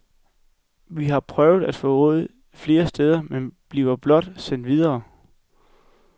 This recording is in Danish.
Vi har prøvet at få råd flere steder, men bliver blot sendt videre.